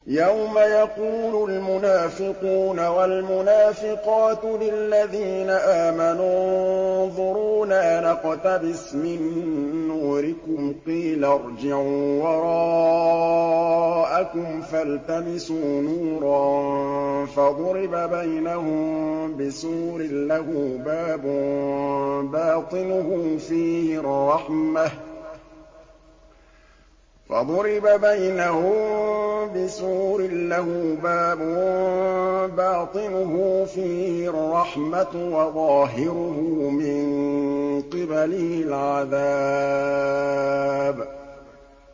يَوْمَ يَقُولُ الْمُنَافِقُونَ وَالْمُنَافِقَاتُ لِلَّذِينَ آمَنُوا انظُرُونَا نَقْتَبِسْ مِن نُّورِكُمْ قِيلَ ارْجِعُوا وَرَاءَكُمْ فَالْتَمِسُوا نُورًا فَضُرِبَ بَيْنَهُم بِسُورٍ لَّهُ بَابٌ بَاطِنُهُ فِيهِ الرَّحْمَةُ وَظَاهِرُهُ مِن قِبَلِهِ الْعَذَابُ